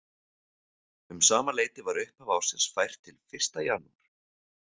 Um sama leyti var upphaf ársins fært til fyrsta janúar.